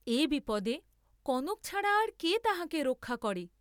এ বিপদে কনক ছাড়া আর কে তাঁহাকে রক্ষা করে!